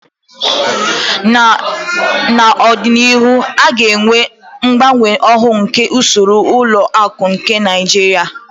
N'ọdịnihu a ga-enwe mgbanwe ọhụrụ nke usoro ụlọ akụ nke Naijiria.